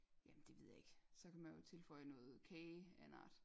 Jamen det ved jeg ikke så kan man jo tilføje noget kafe af en art